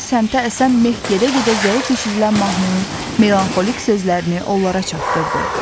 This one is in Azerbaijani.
Eyni səmtə əsən meh gedə-gedə zəif eşidilən mahnının melanxolik sözlərini onlara çatdırdı.